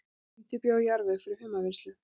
Undirbjó jarðveg fyrir humarvinnslu